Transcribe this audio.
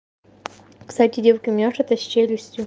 кстати девочки у меня что-то с челюстью